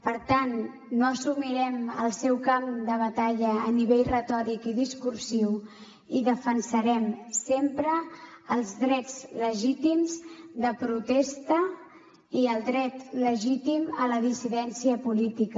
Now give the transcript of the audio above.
per tant no assumirem el seu camp de batalla a nivell retòric i discursiu i defensarem sempre els drets legítims de protesta i el dret legítim a la dissidència política